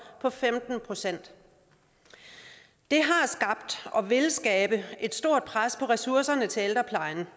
på femten procent det har skabt og vil skabe et stort pres på ressourcerne til ældreplejen